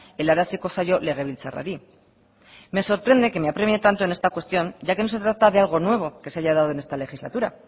helaraziko zaio legebiltzarrari me sorprende que me apremie tanto en esta cuestión ya que no se trata de algo nuevo que se haya dado en esta legislatura